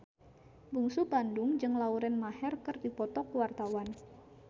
Bungsu Bandung jeung Lauren Maher keur dipoto ku wartawan